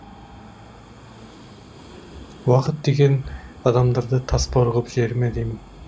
уақыт деген адамдарды тасбауыр ғып жібере ме деймін